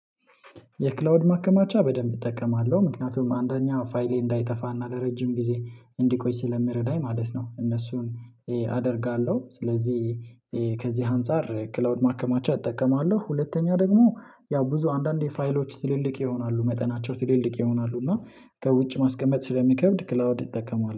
የክላውድ ማከማቻ በደንብ እጠቀማለሁ ምክንያቱም አንደኛ ፋይሌ እንዳይጠፋና ለረጅም ጊዜ እንዲቆይ ስለምረዳኝ ማለት ነው። እነሱን አደርጋለሁ ስለዚህ ከዚህ አንፃር ክላውድ ማከማቻ እጠቀማለሁ። ሁለተኛ ደግሞ ያው ብዙ አንዳንዴ ፋይሎች ትልልቅ ይሆናሉ መጠናቸው ትልልቅ ይሆናሉ እና ከውጭ ማስቀመጥ ስለሚከብድ ክላውድ እጠቀማለሁ